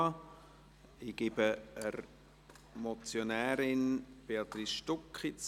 Ich gebe das Wort der Motionärin Béatrice Stucki.